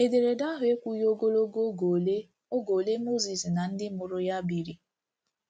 Ederede ahụ ekwughi ogologo oge ole oge ole Mozis na ndị mụrụ ya biri.